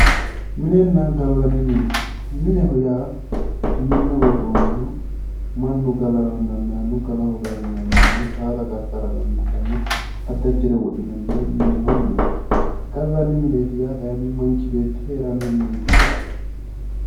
Minenna gallanni mine mineho yaa minne worroonniho mannu galara dandaanno gala hoogarano dandaanno addi addire wodhinanniha mineho yinanni gallanni mineeti yaa kayiinni manchi beetti heeranno mineeti yaate